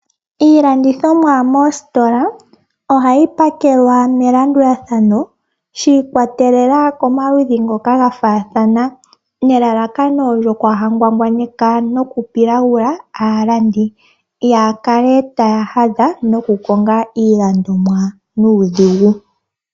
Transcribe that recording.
Iilandithomwa moositola ohayi pakelwa melandulathano shi ikwatelela komaludhi ngoka ga faathana ,nelalakano lyokwaahangwangwaneka nokupilagula aalandi, kaaya kale taya hadha noku konga iilandomwa nuudhigu.